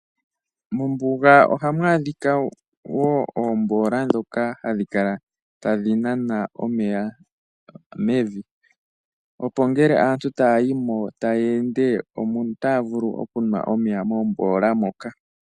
Mombuga ohamu adhika wo oomboola ndhoka hadhi kala tadhi nana omeya mevi, opo ngele aantu taya yi mo taya ende otaya vulu okunwa omeya moomboola moka.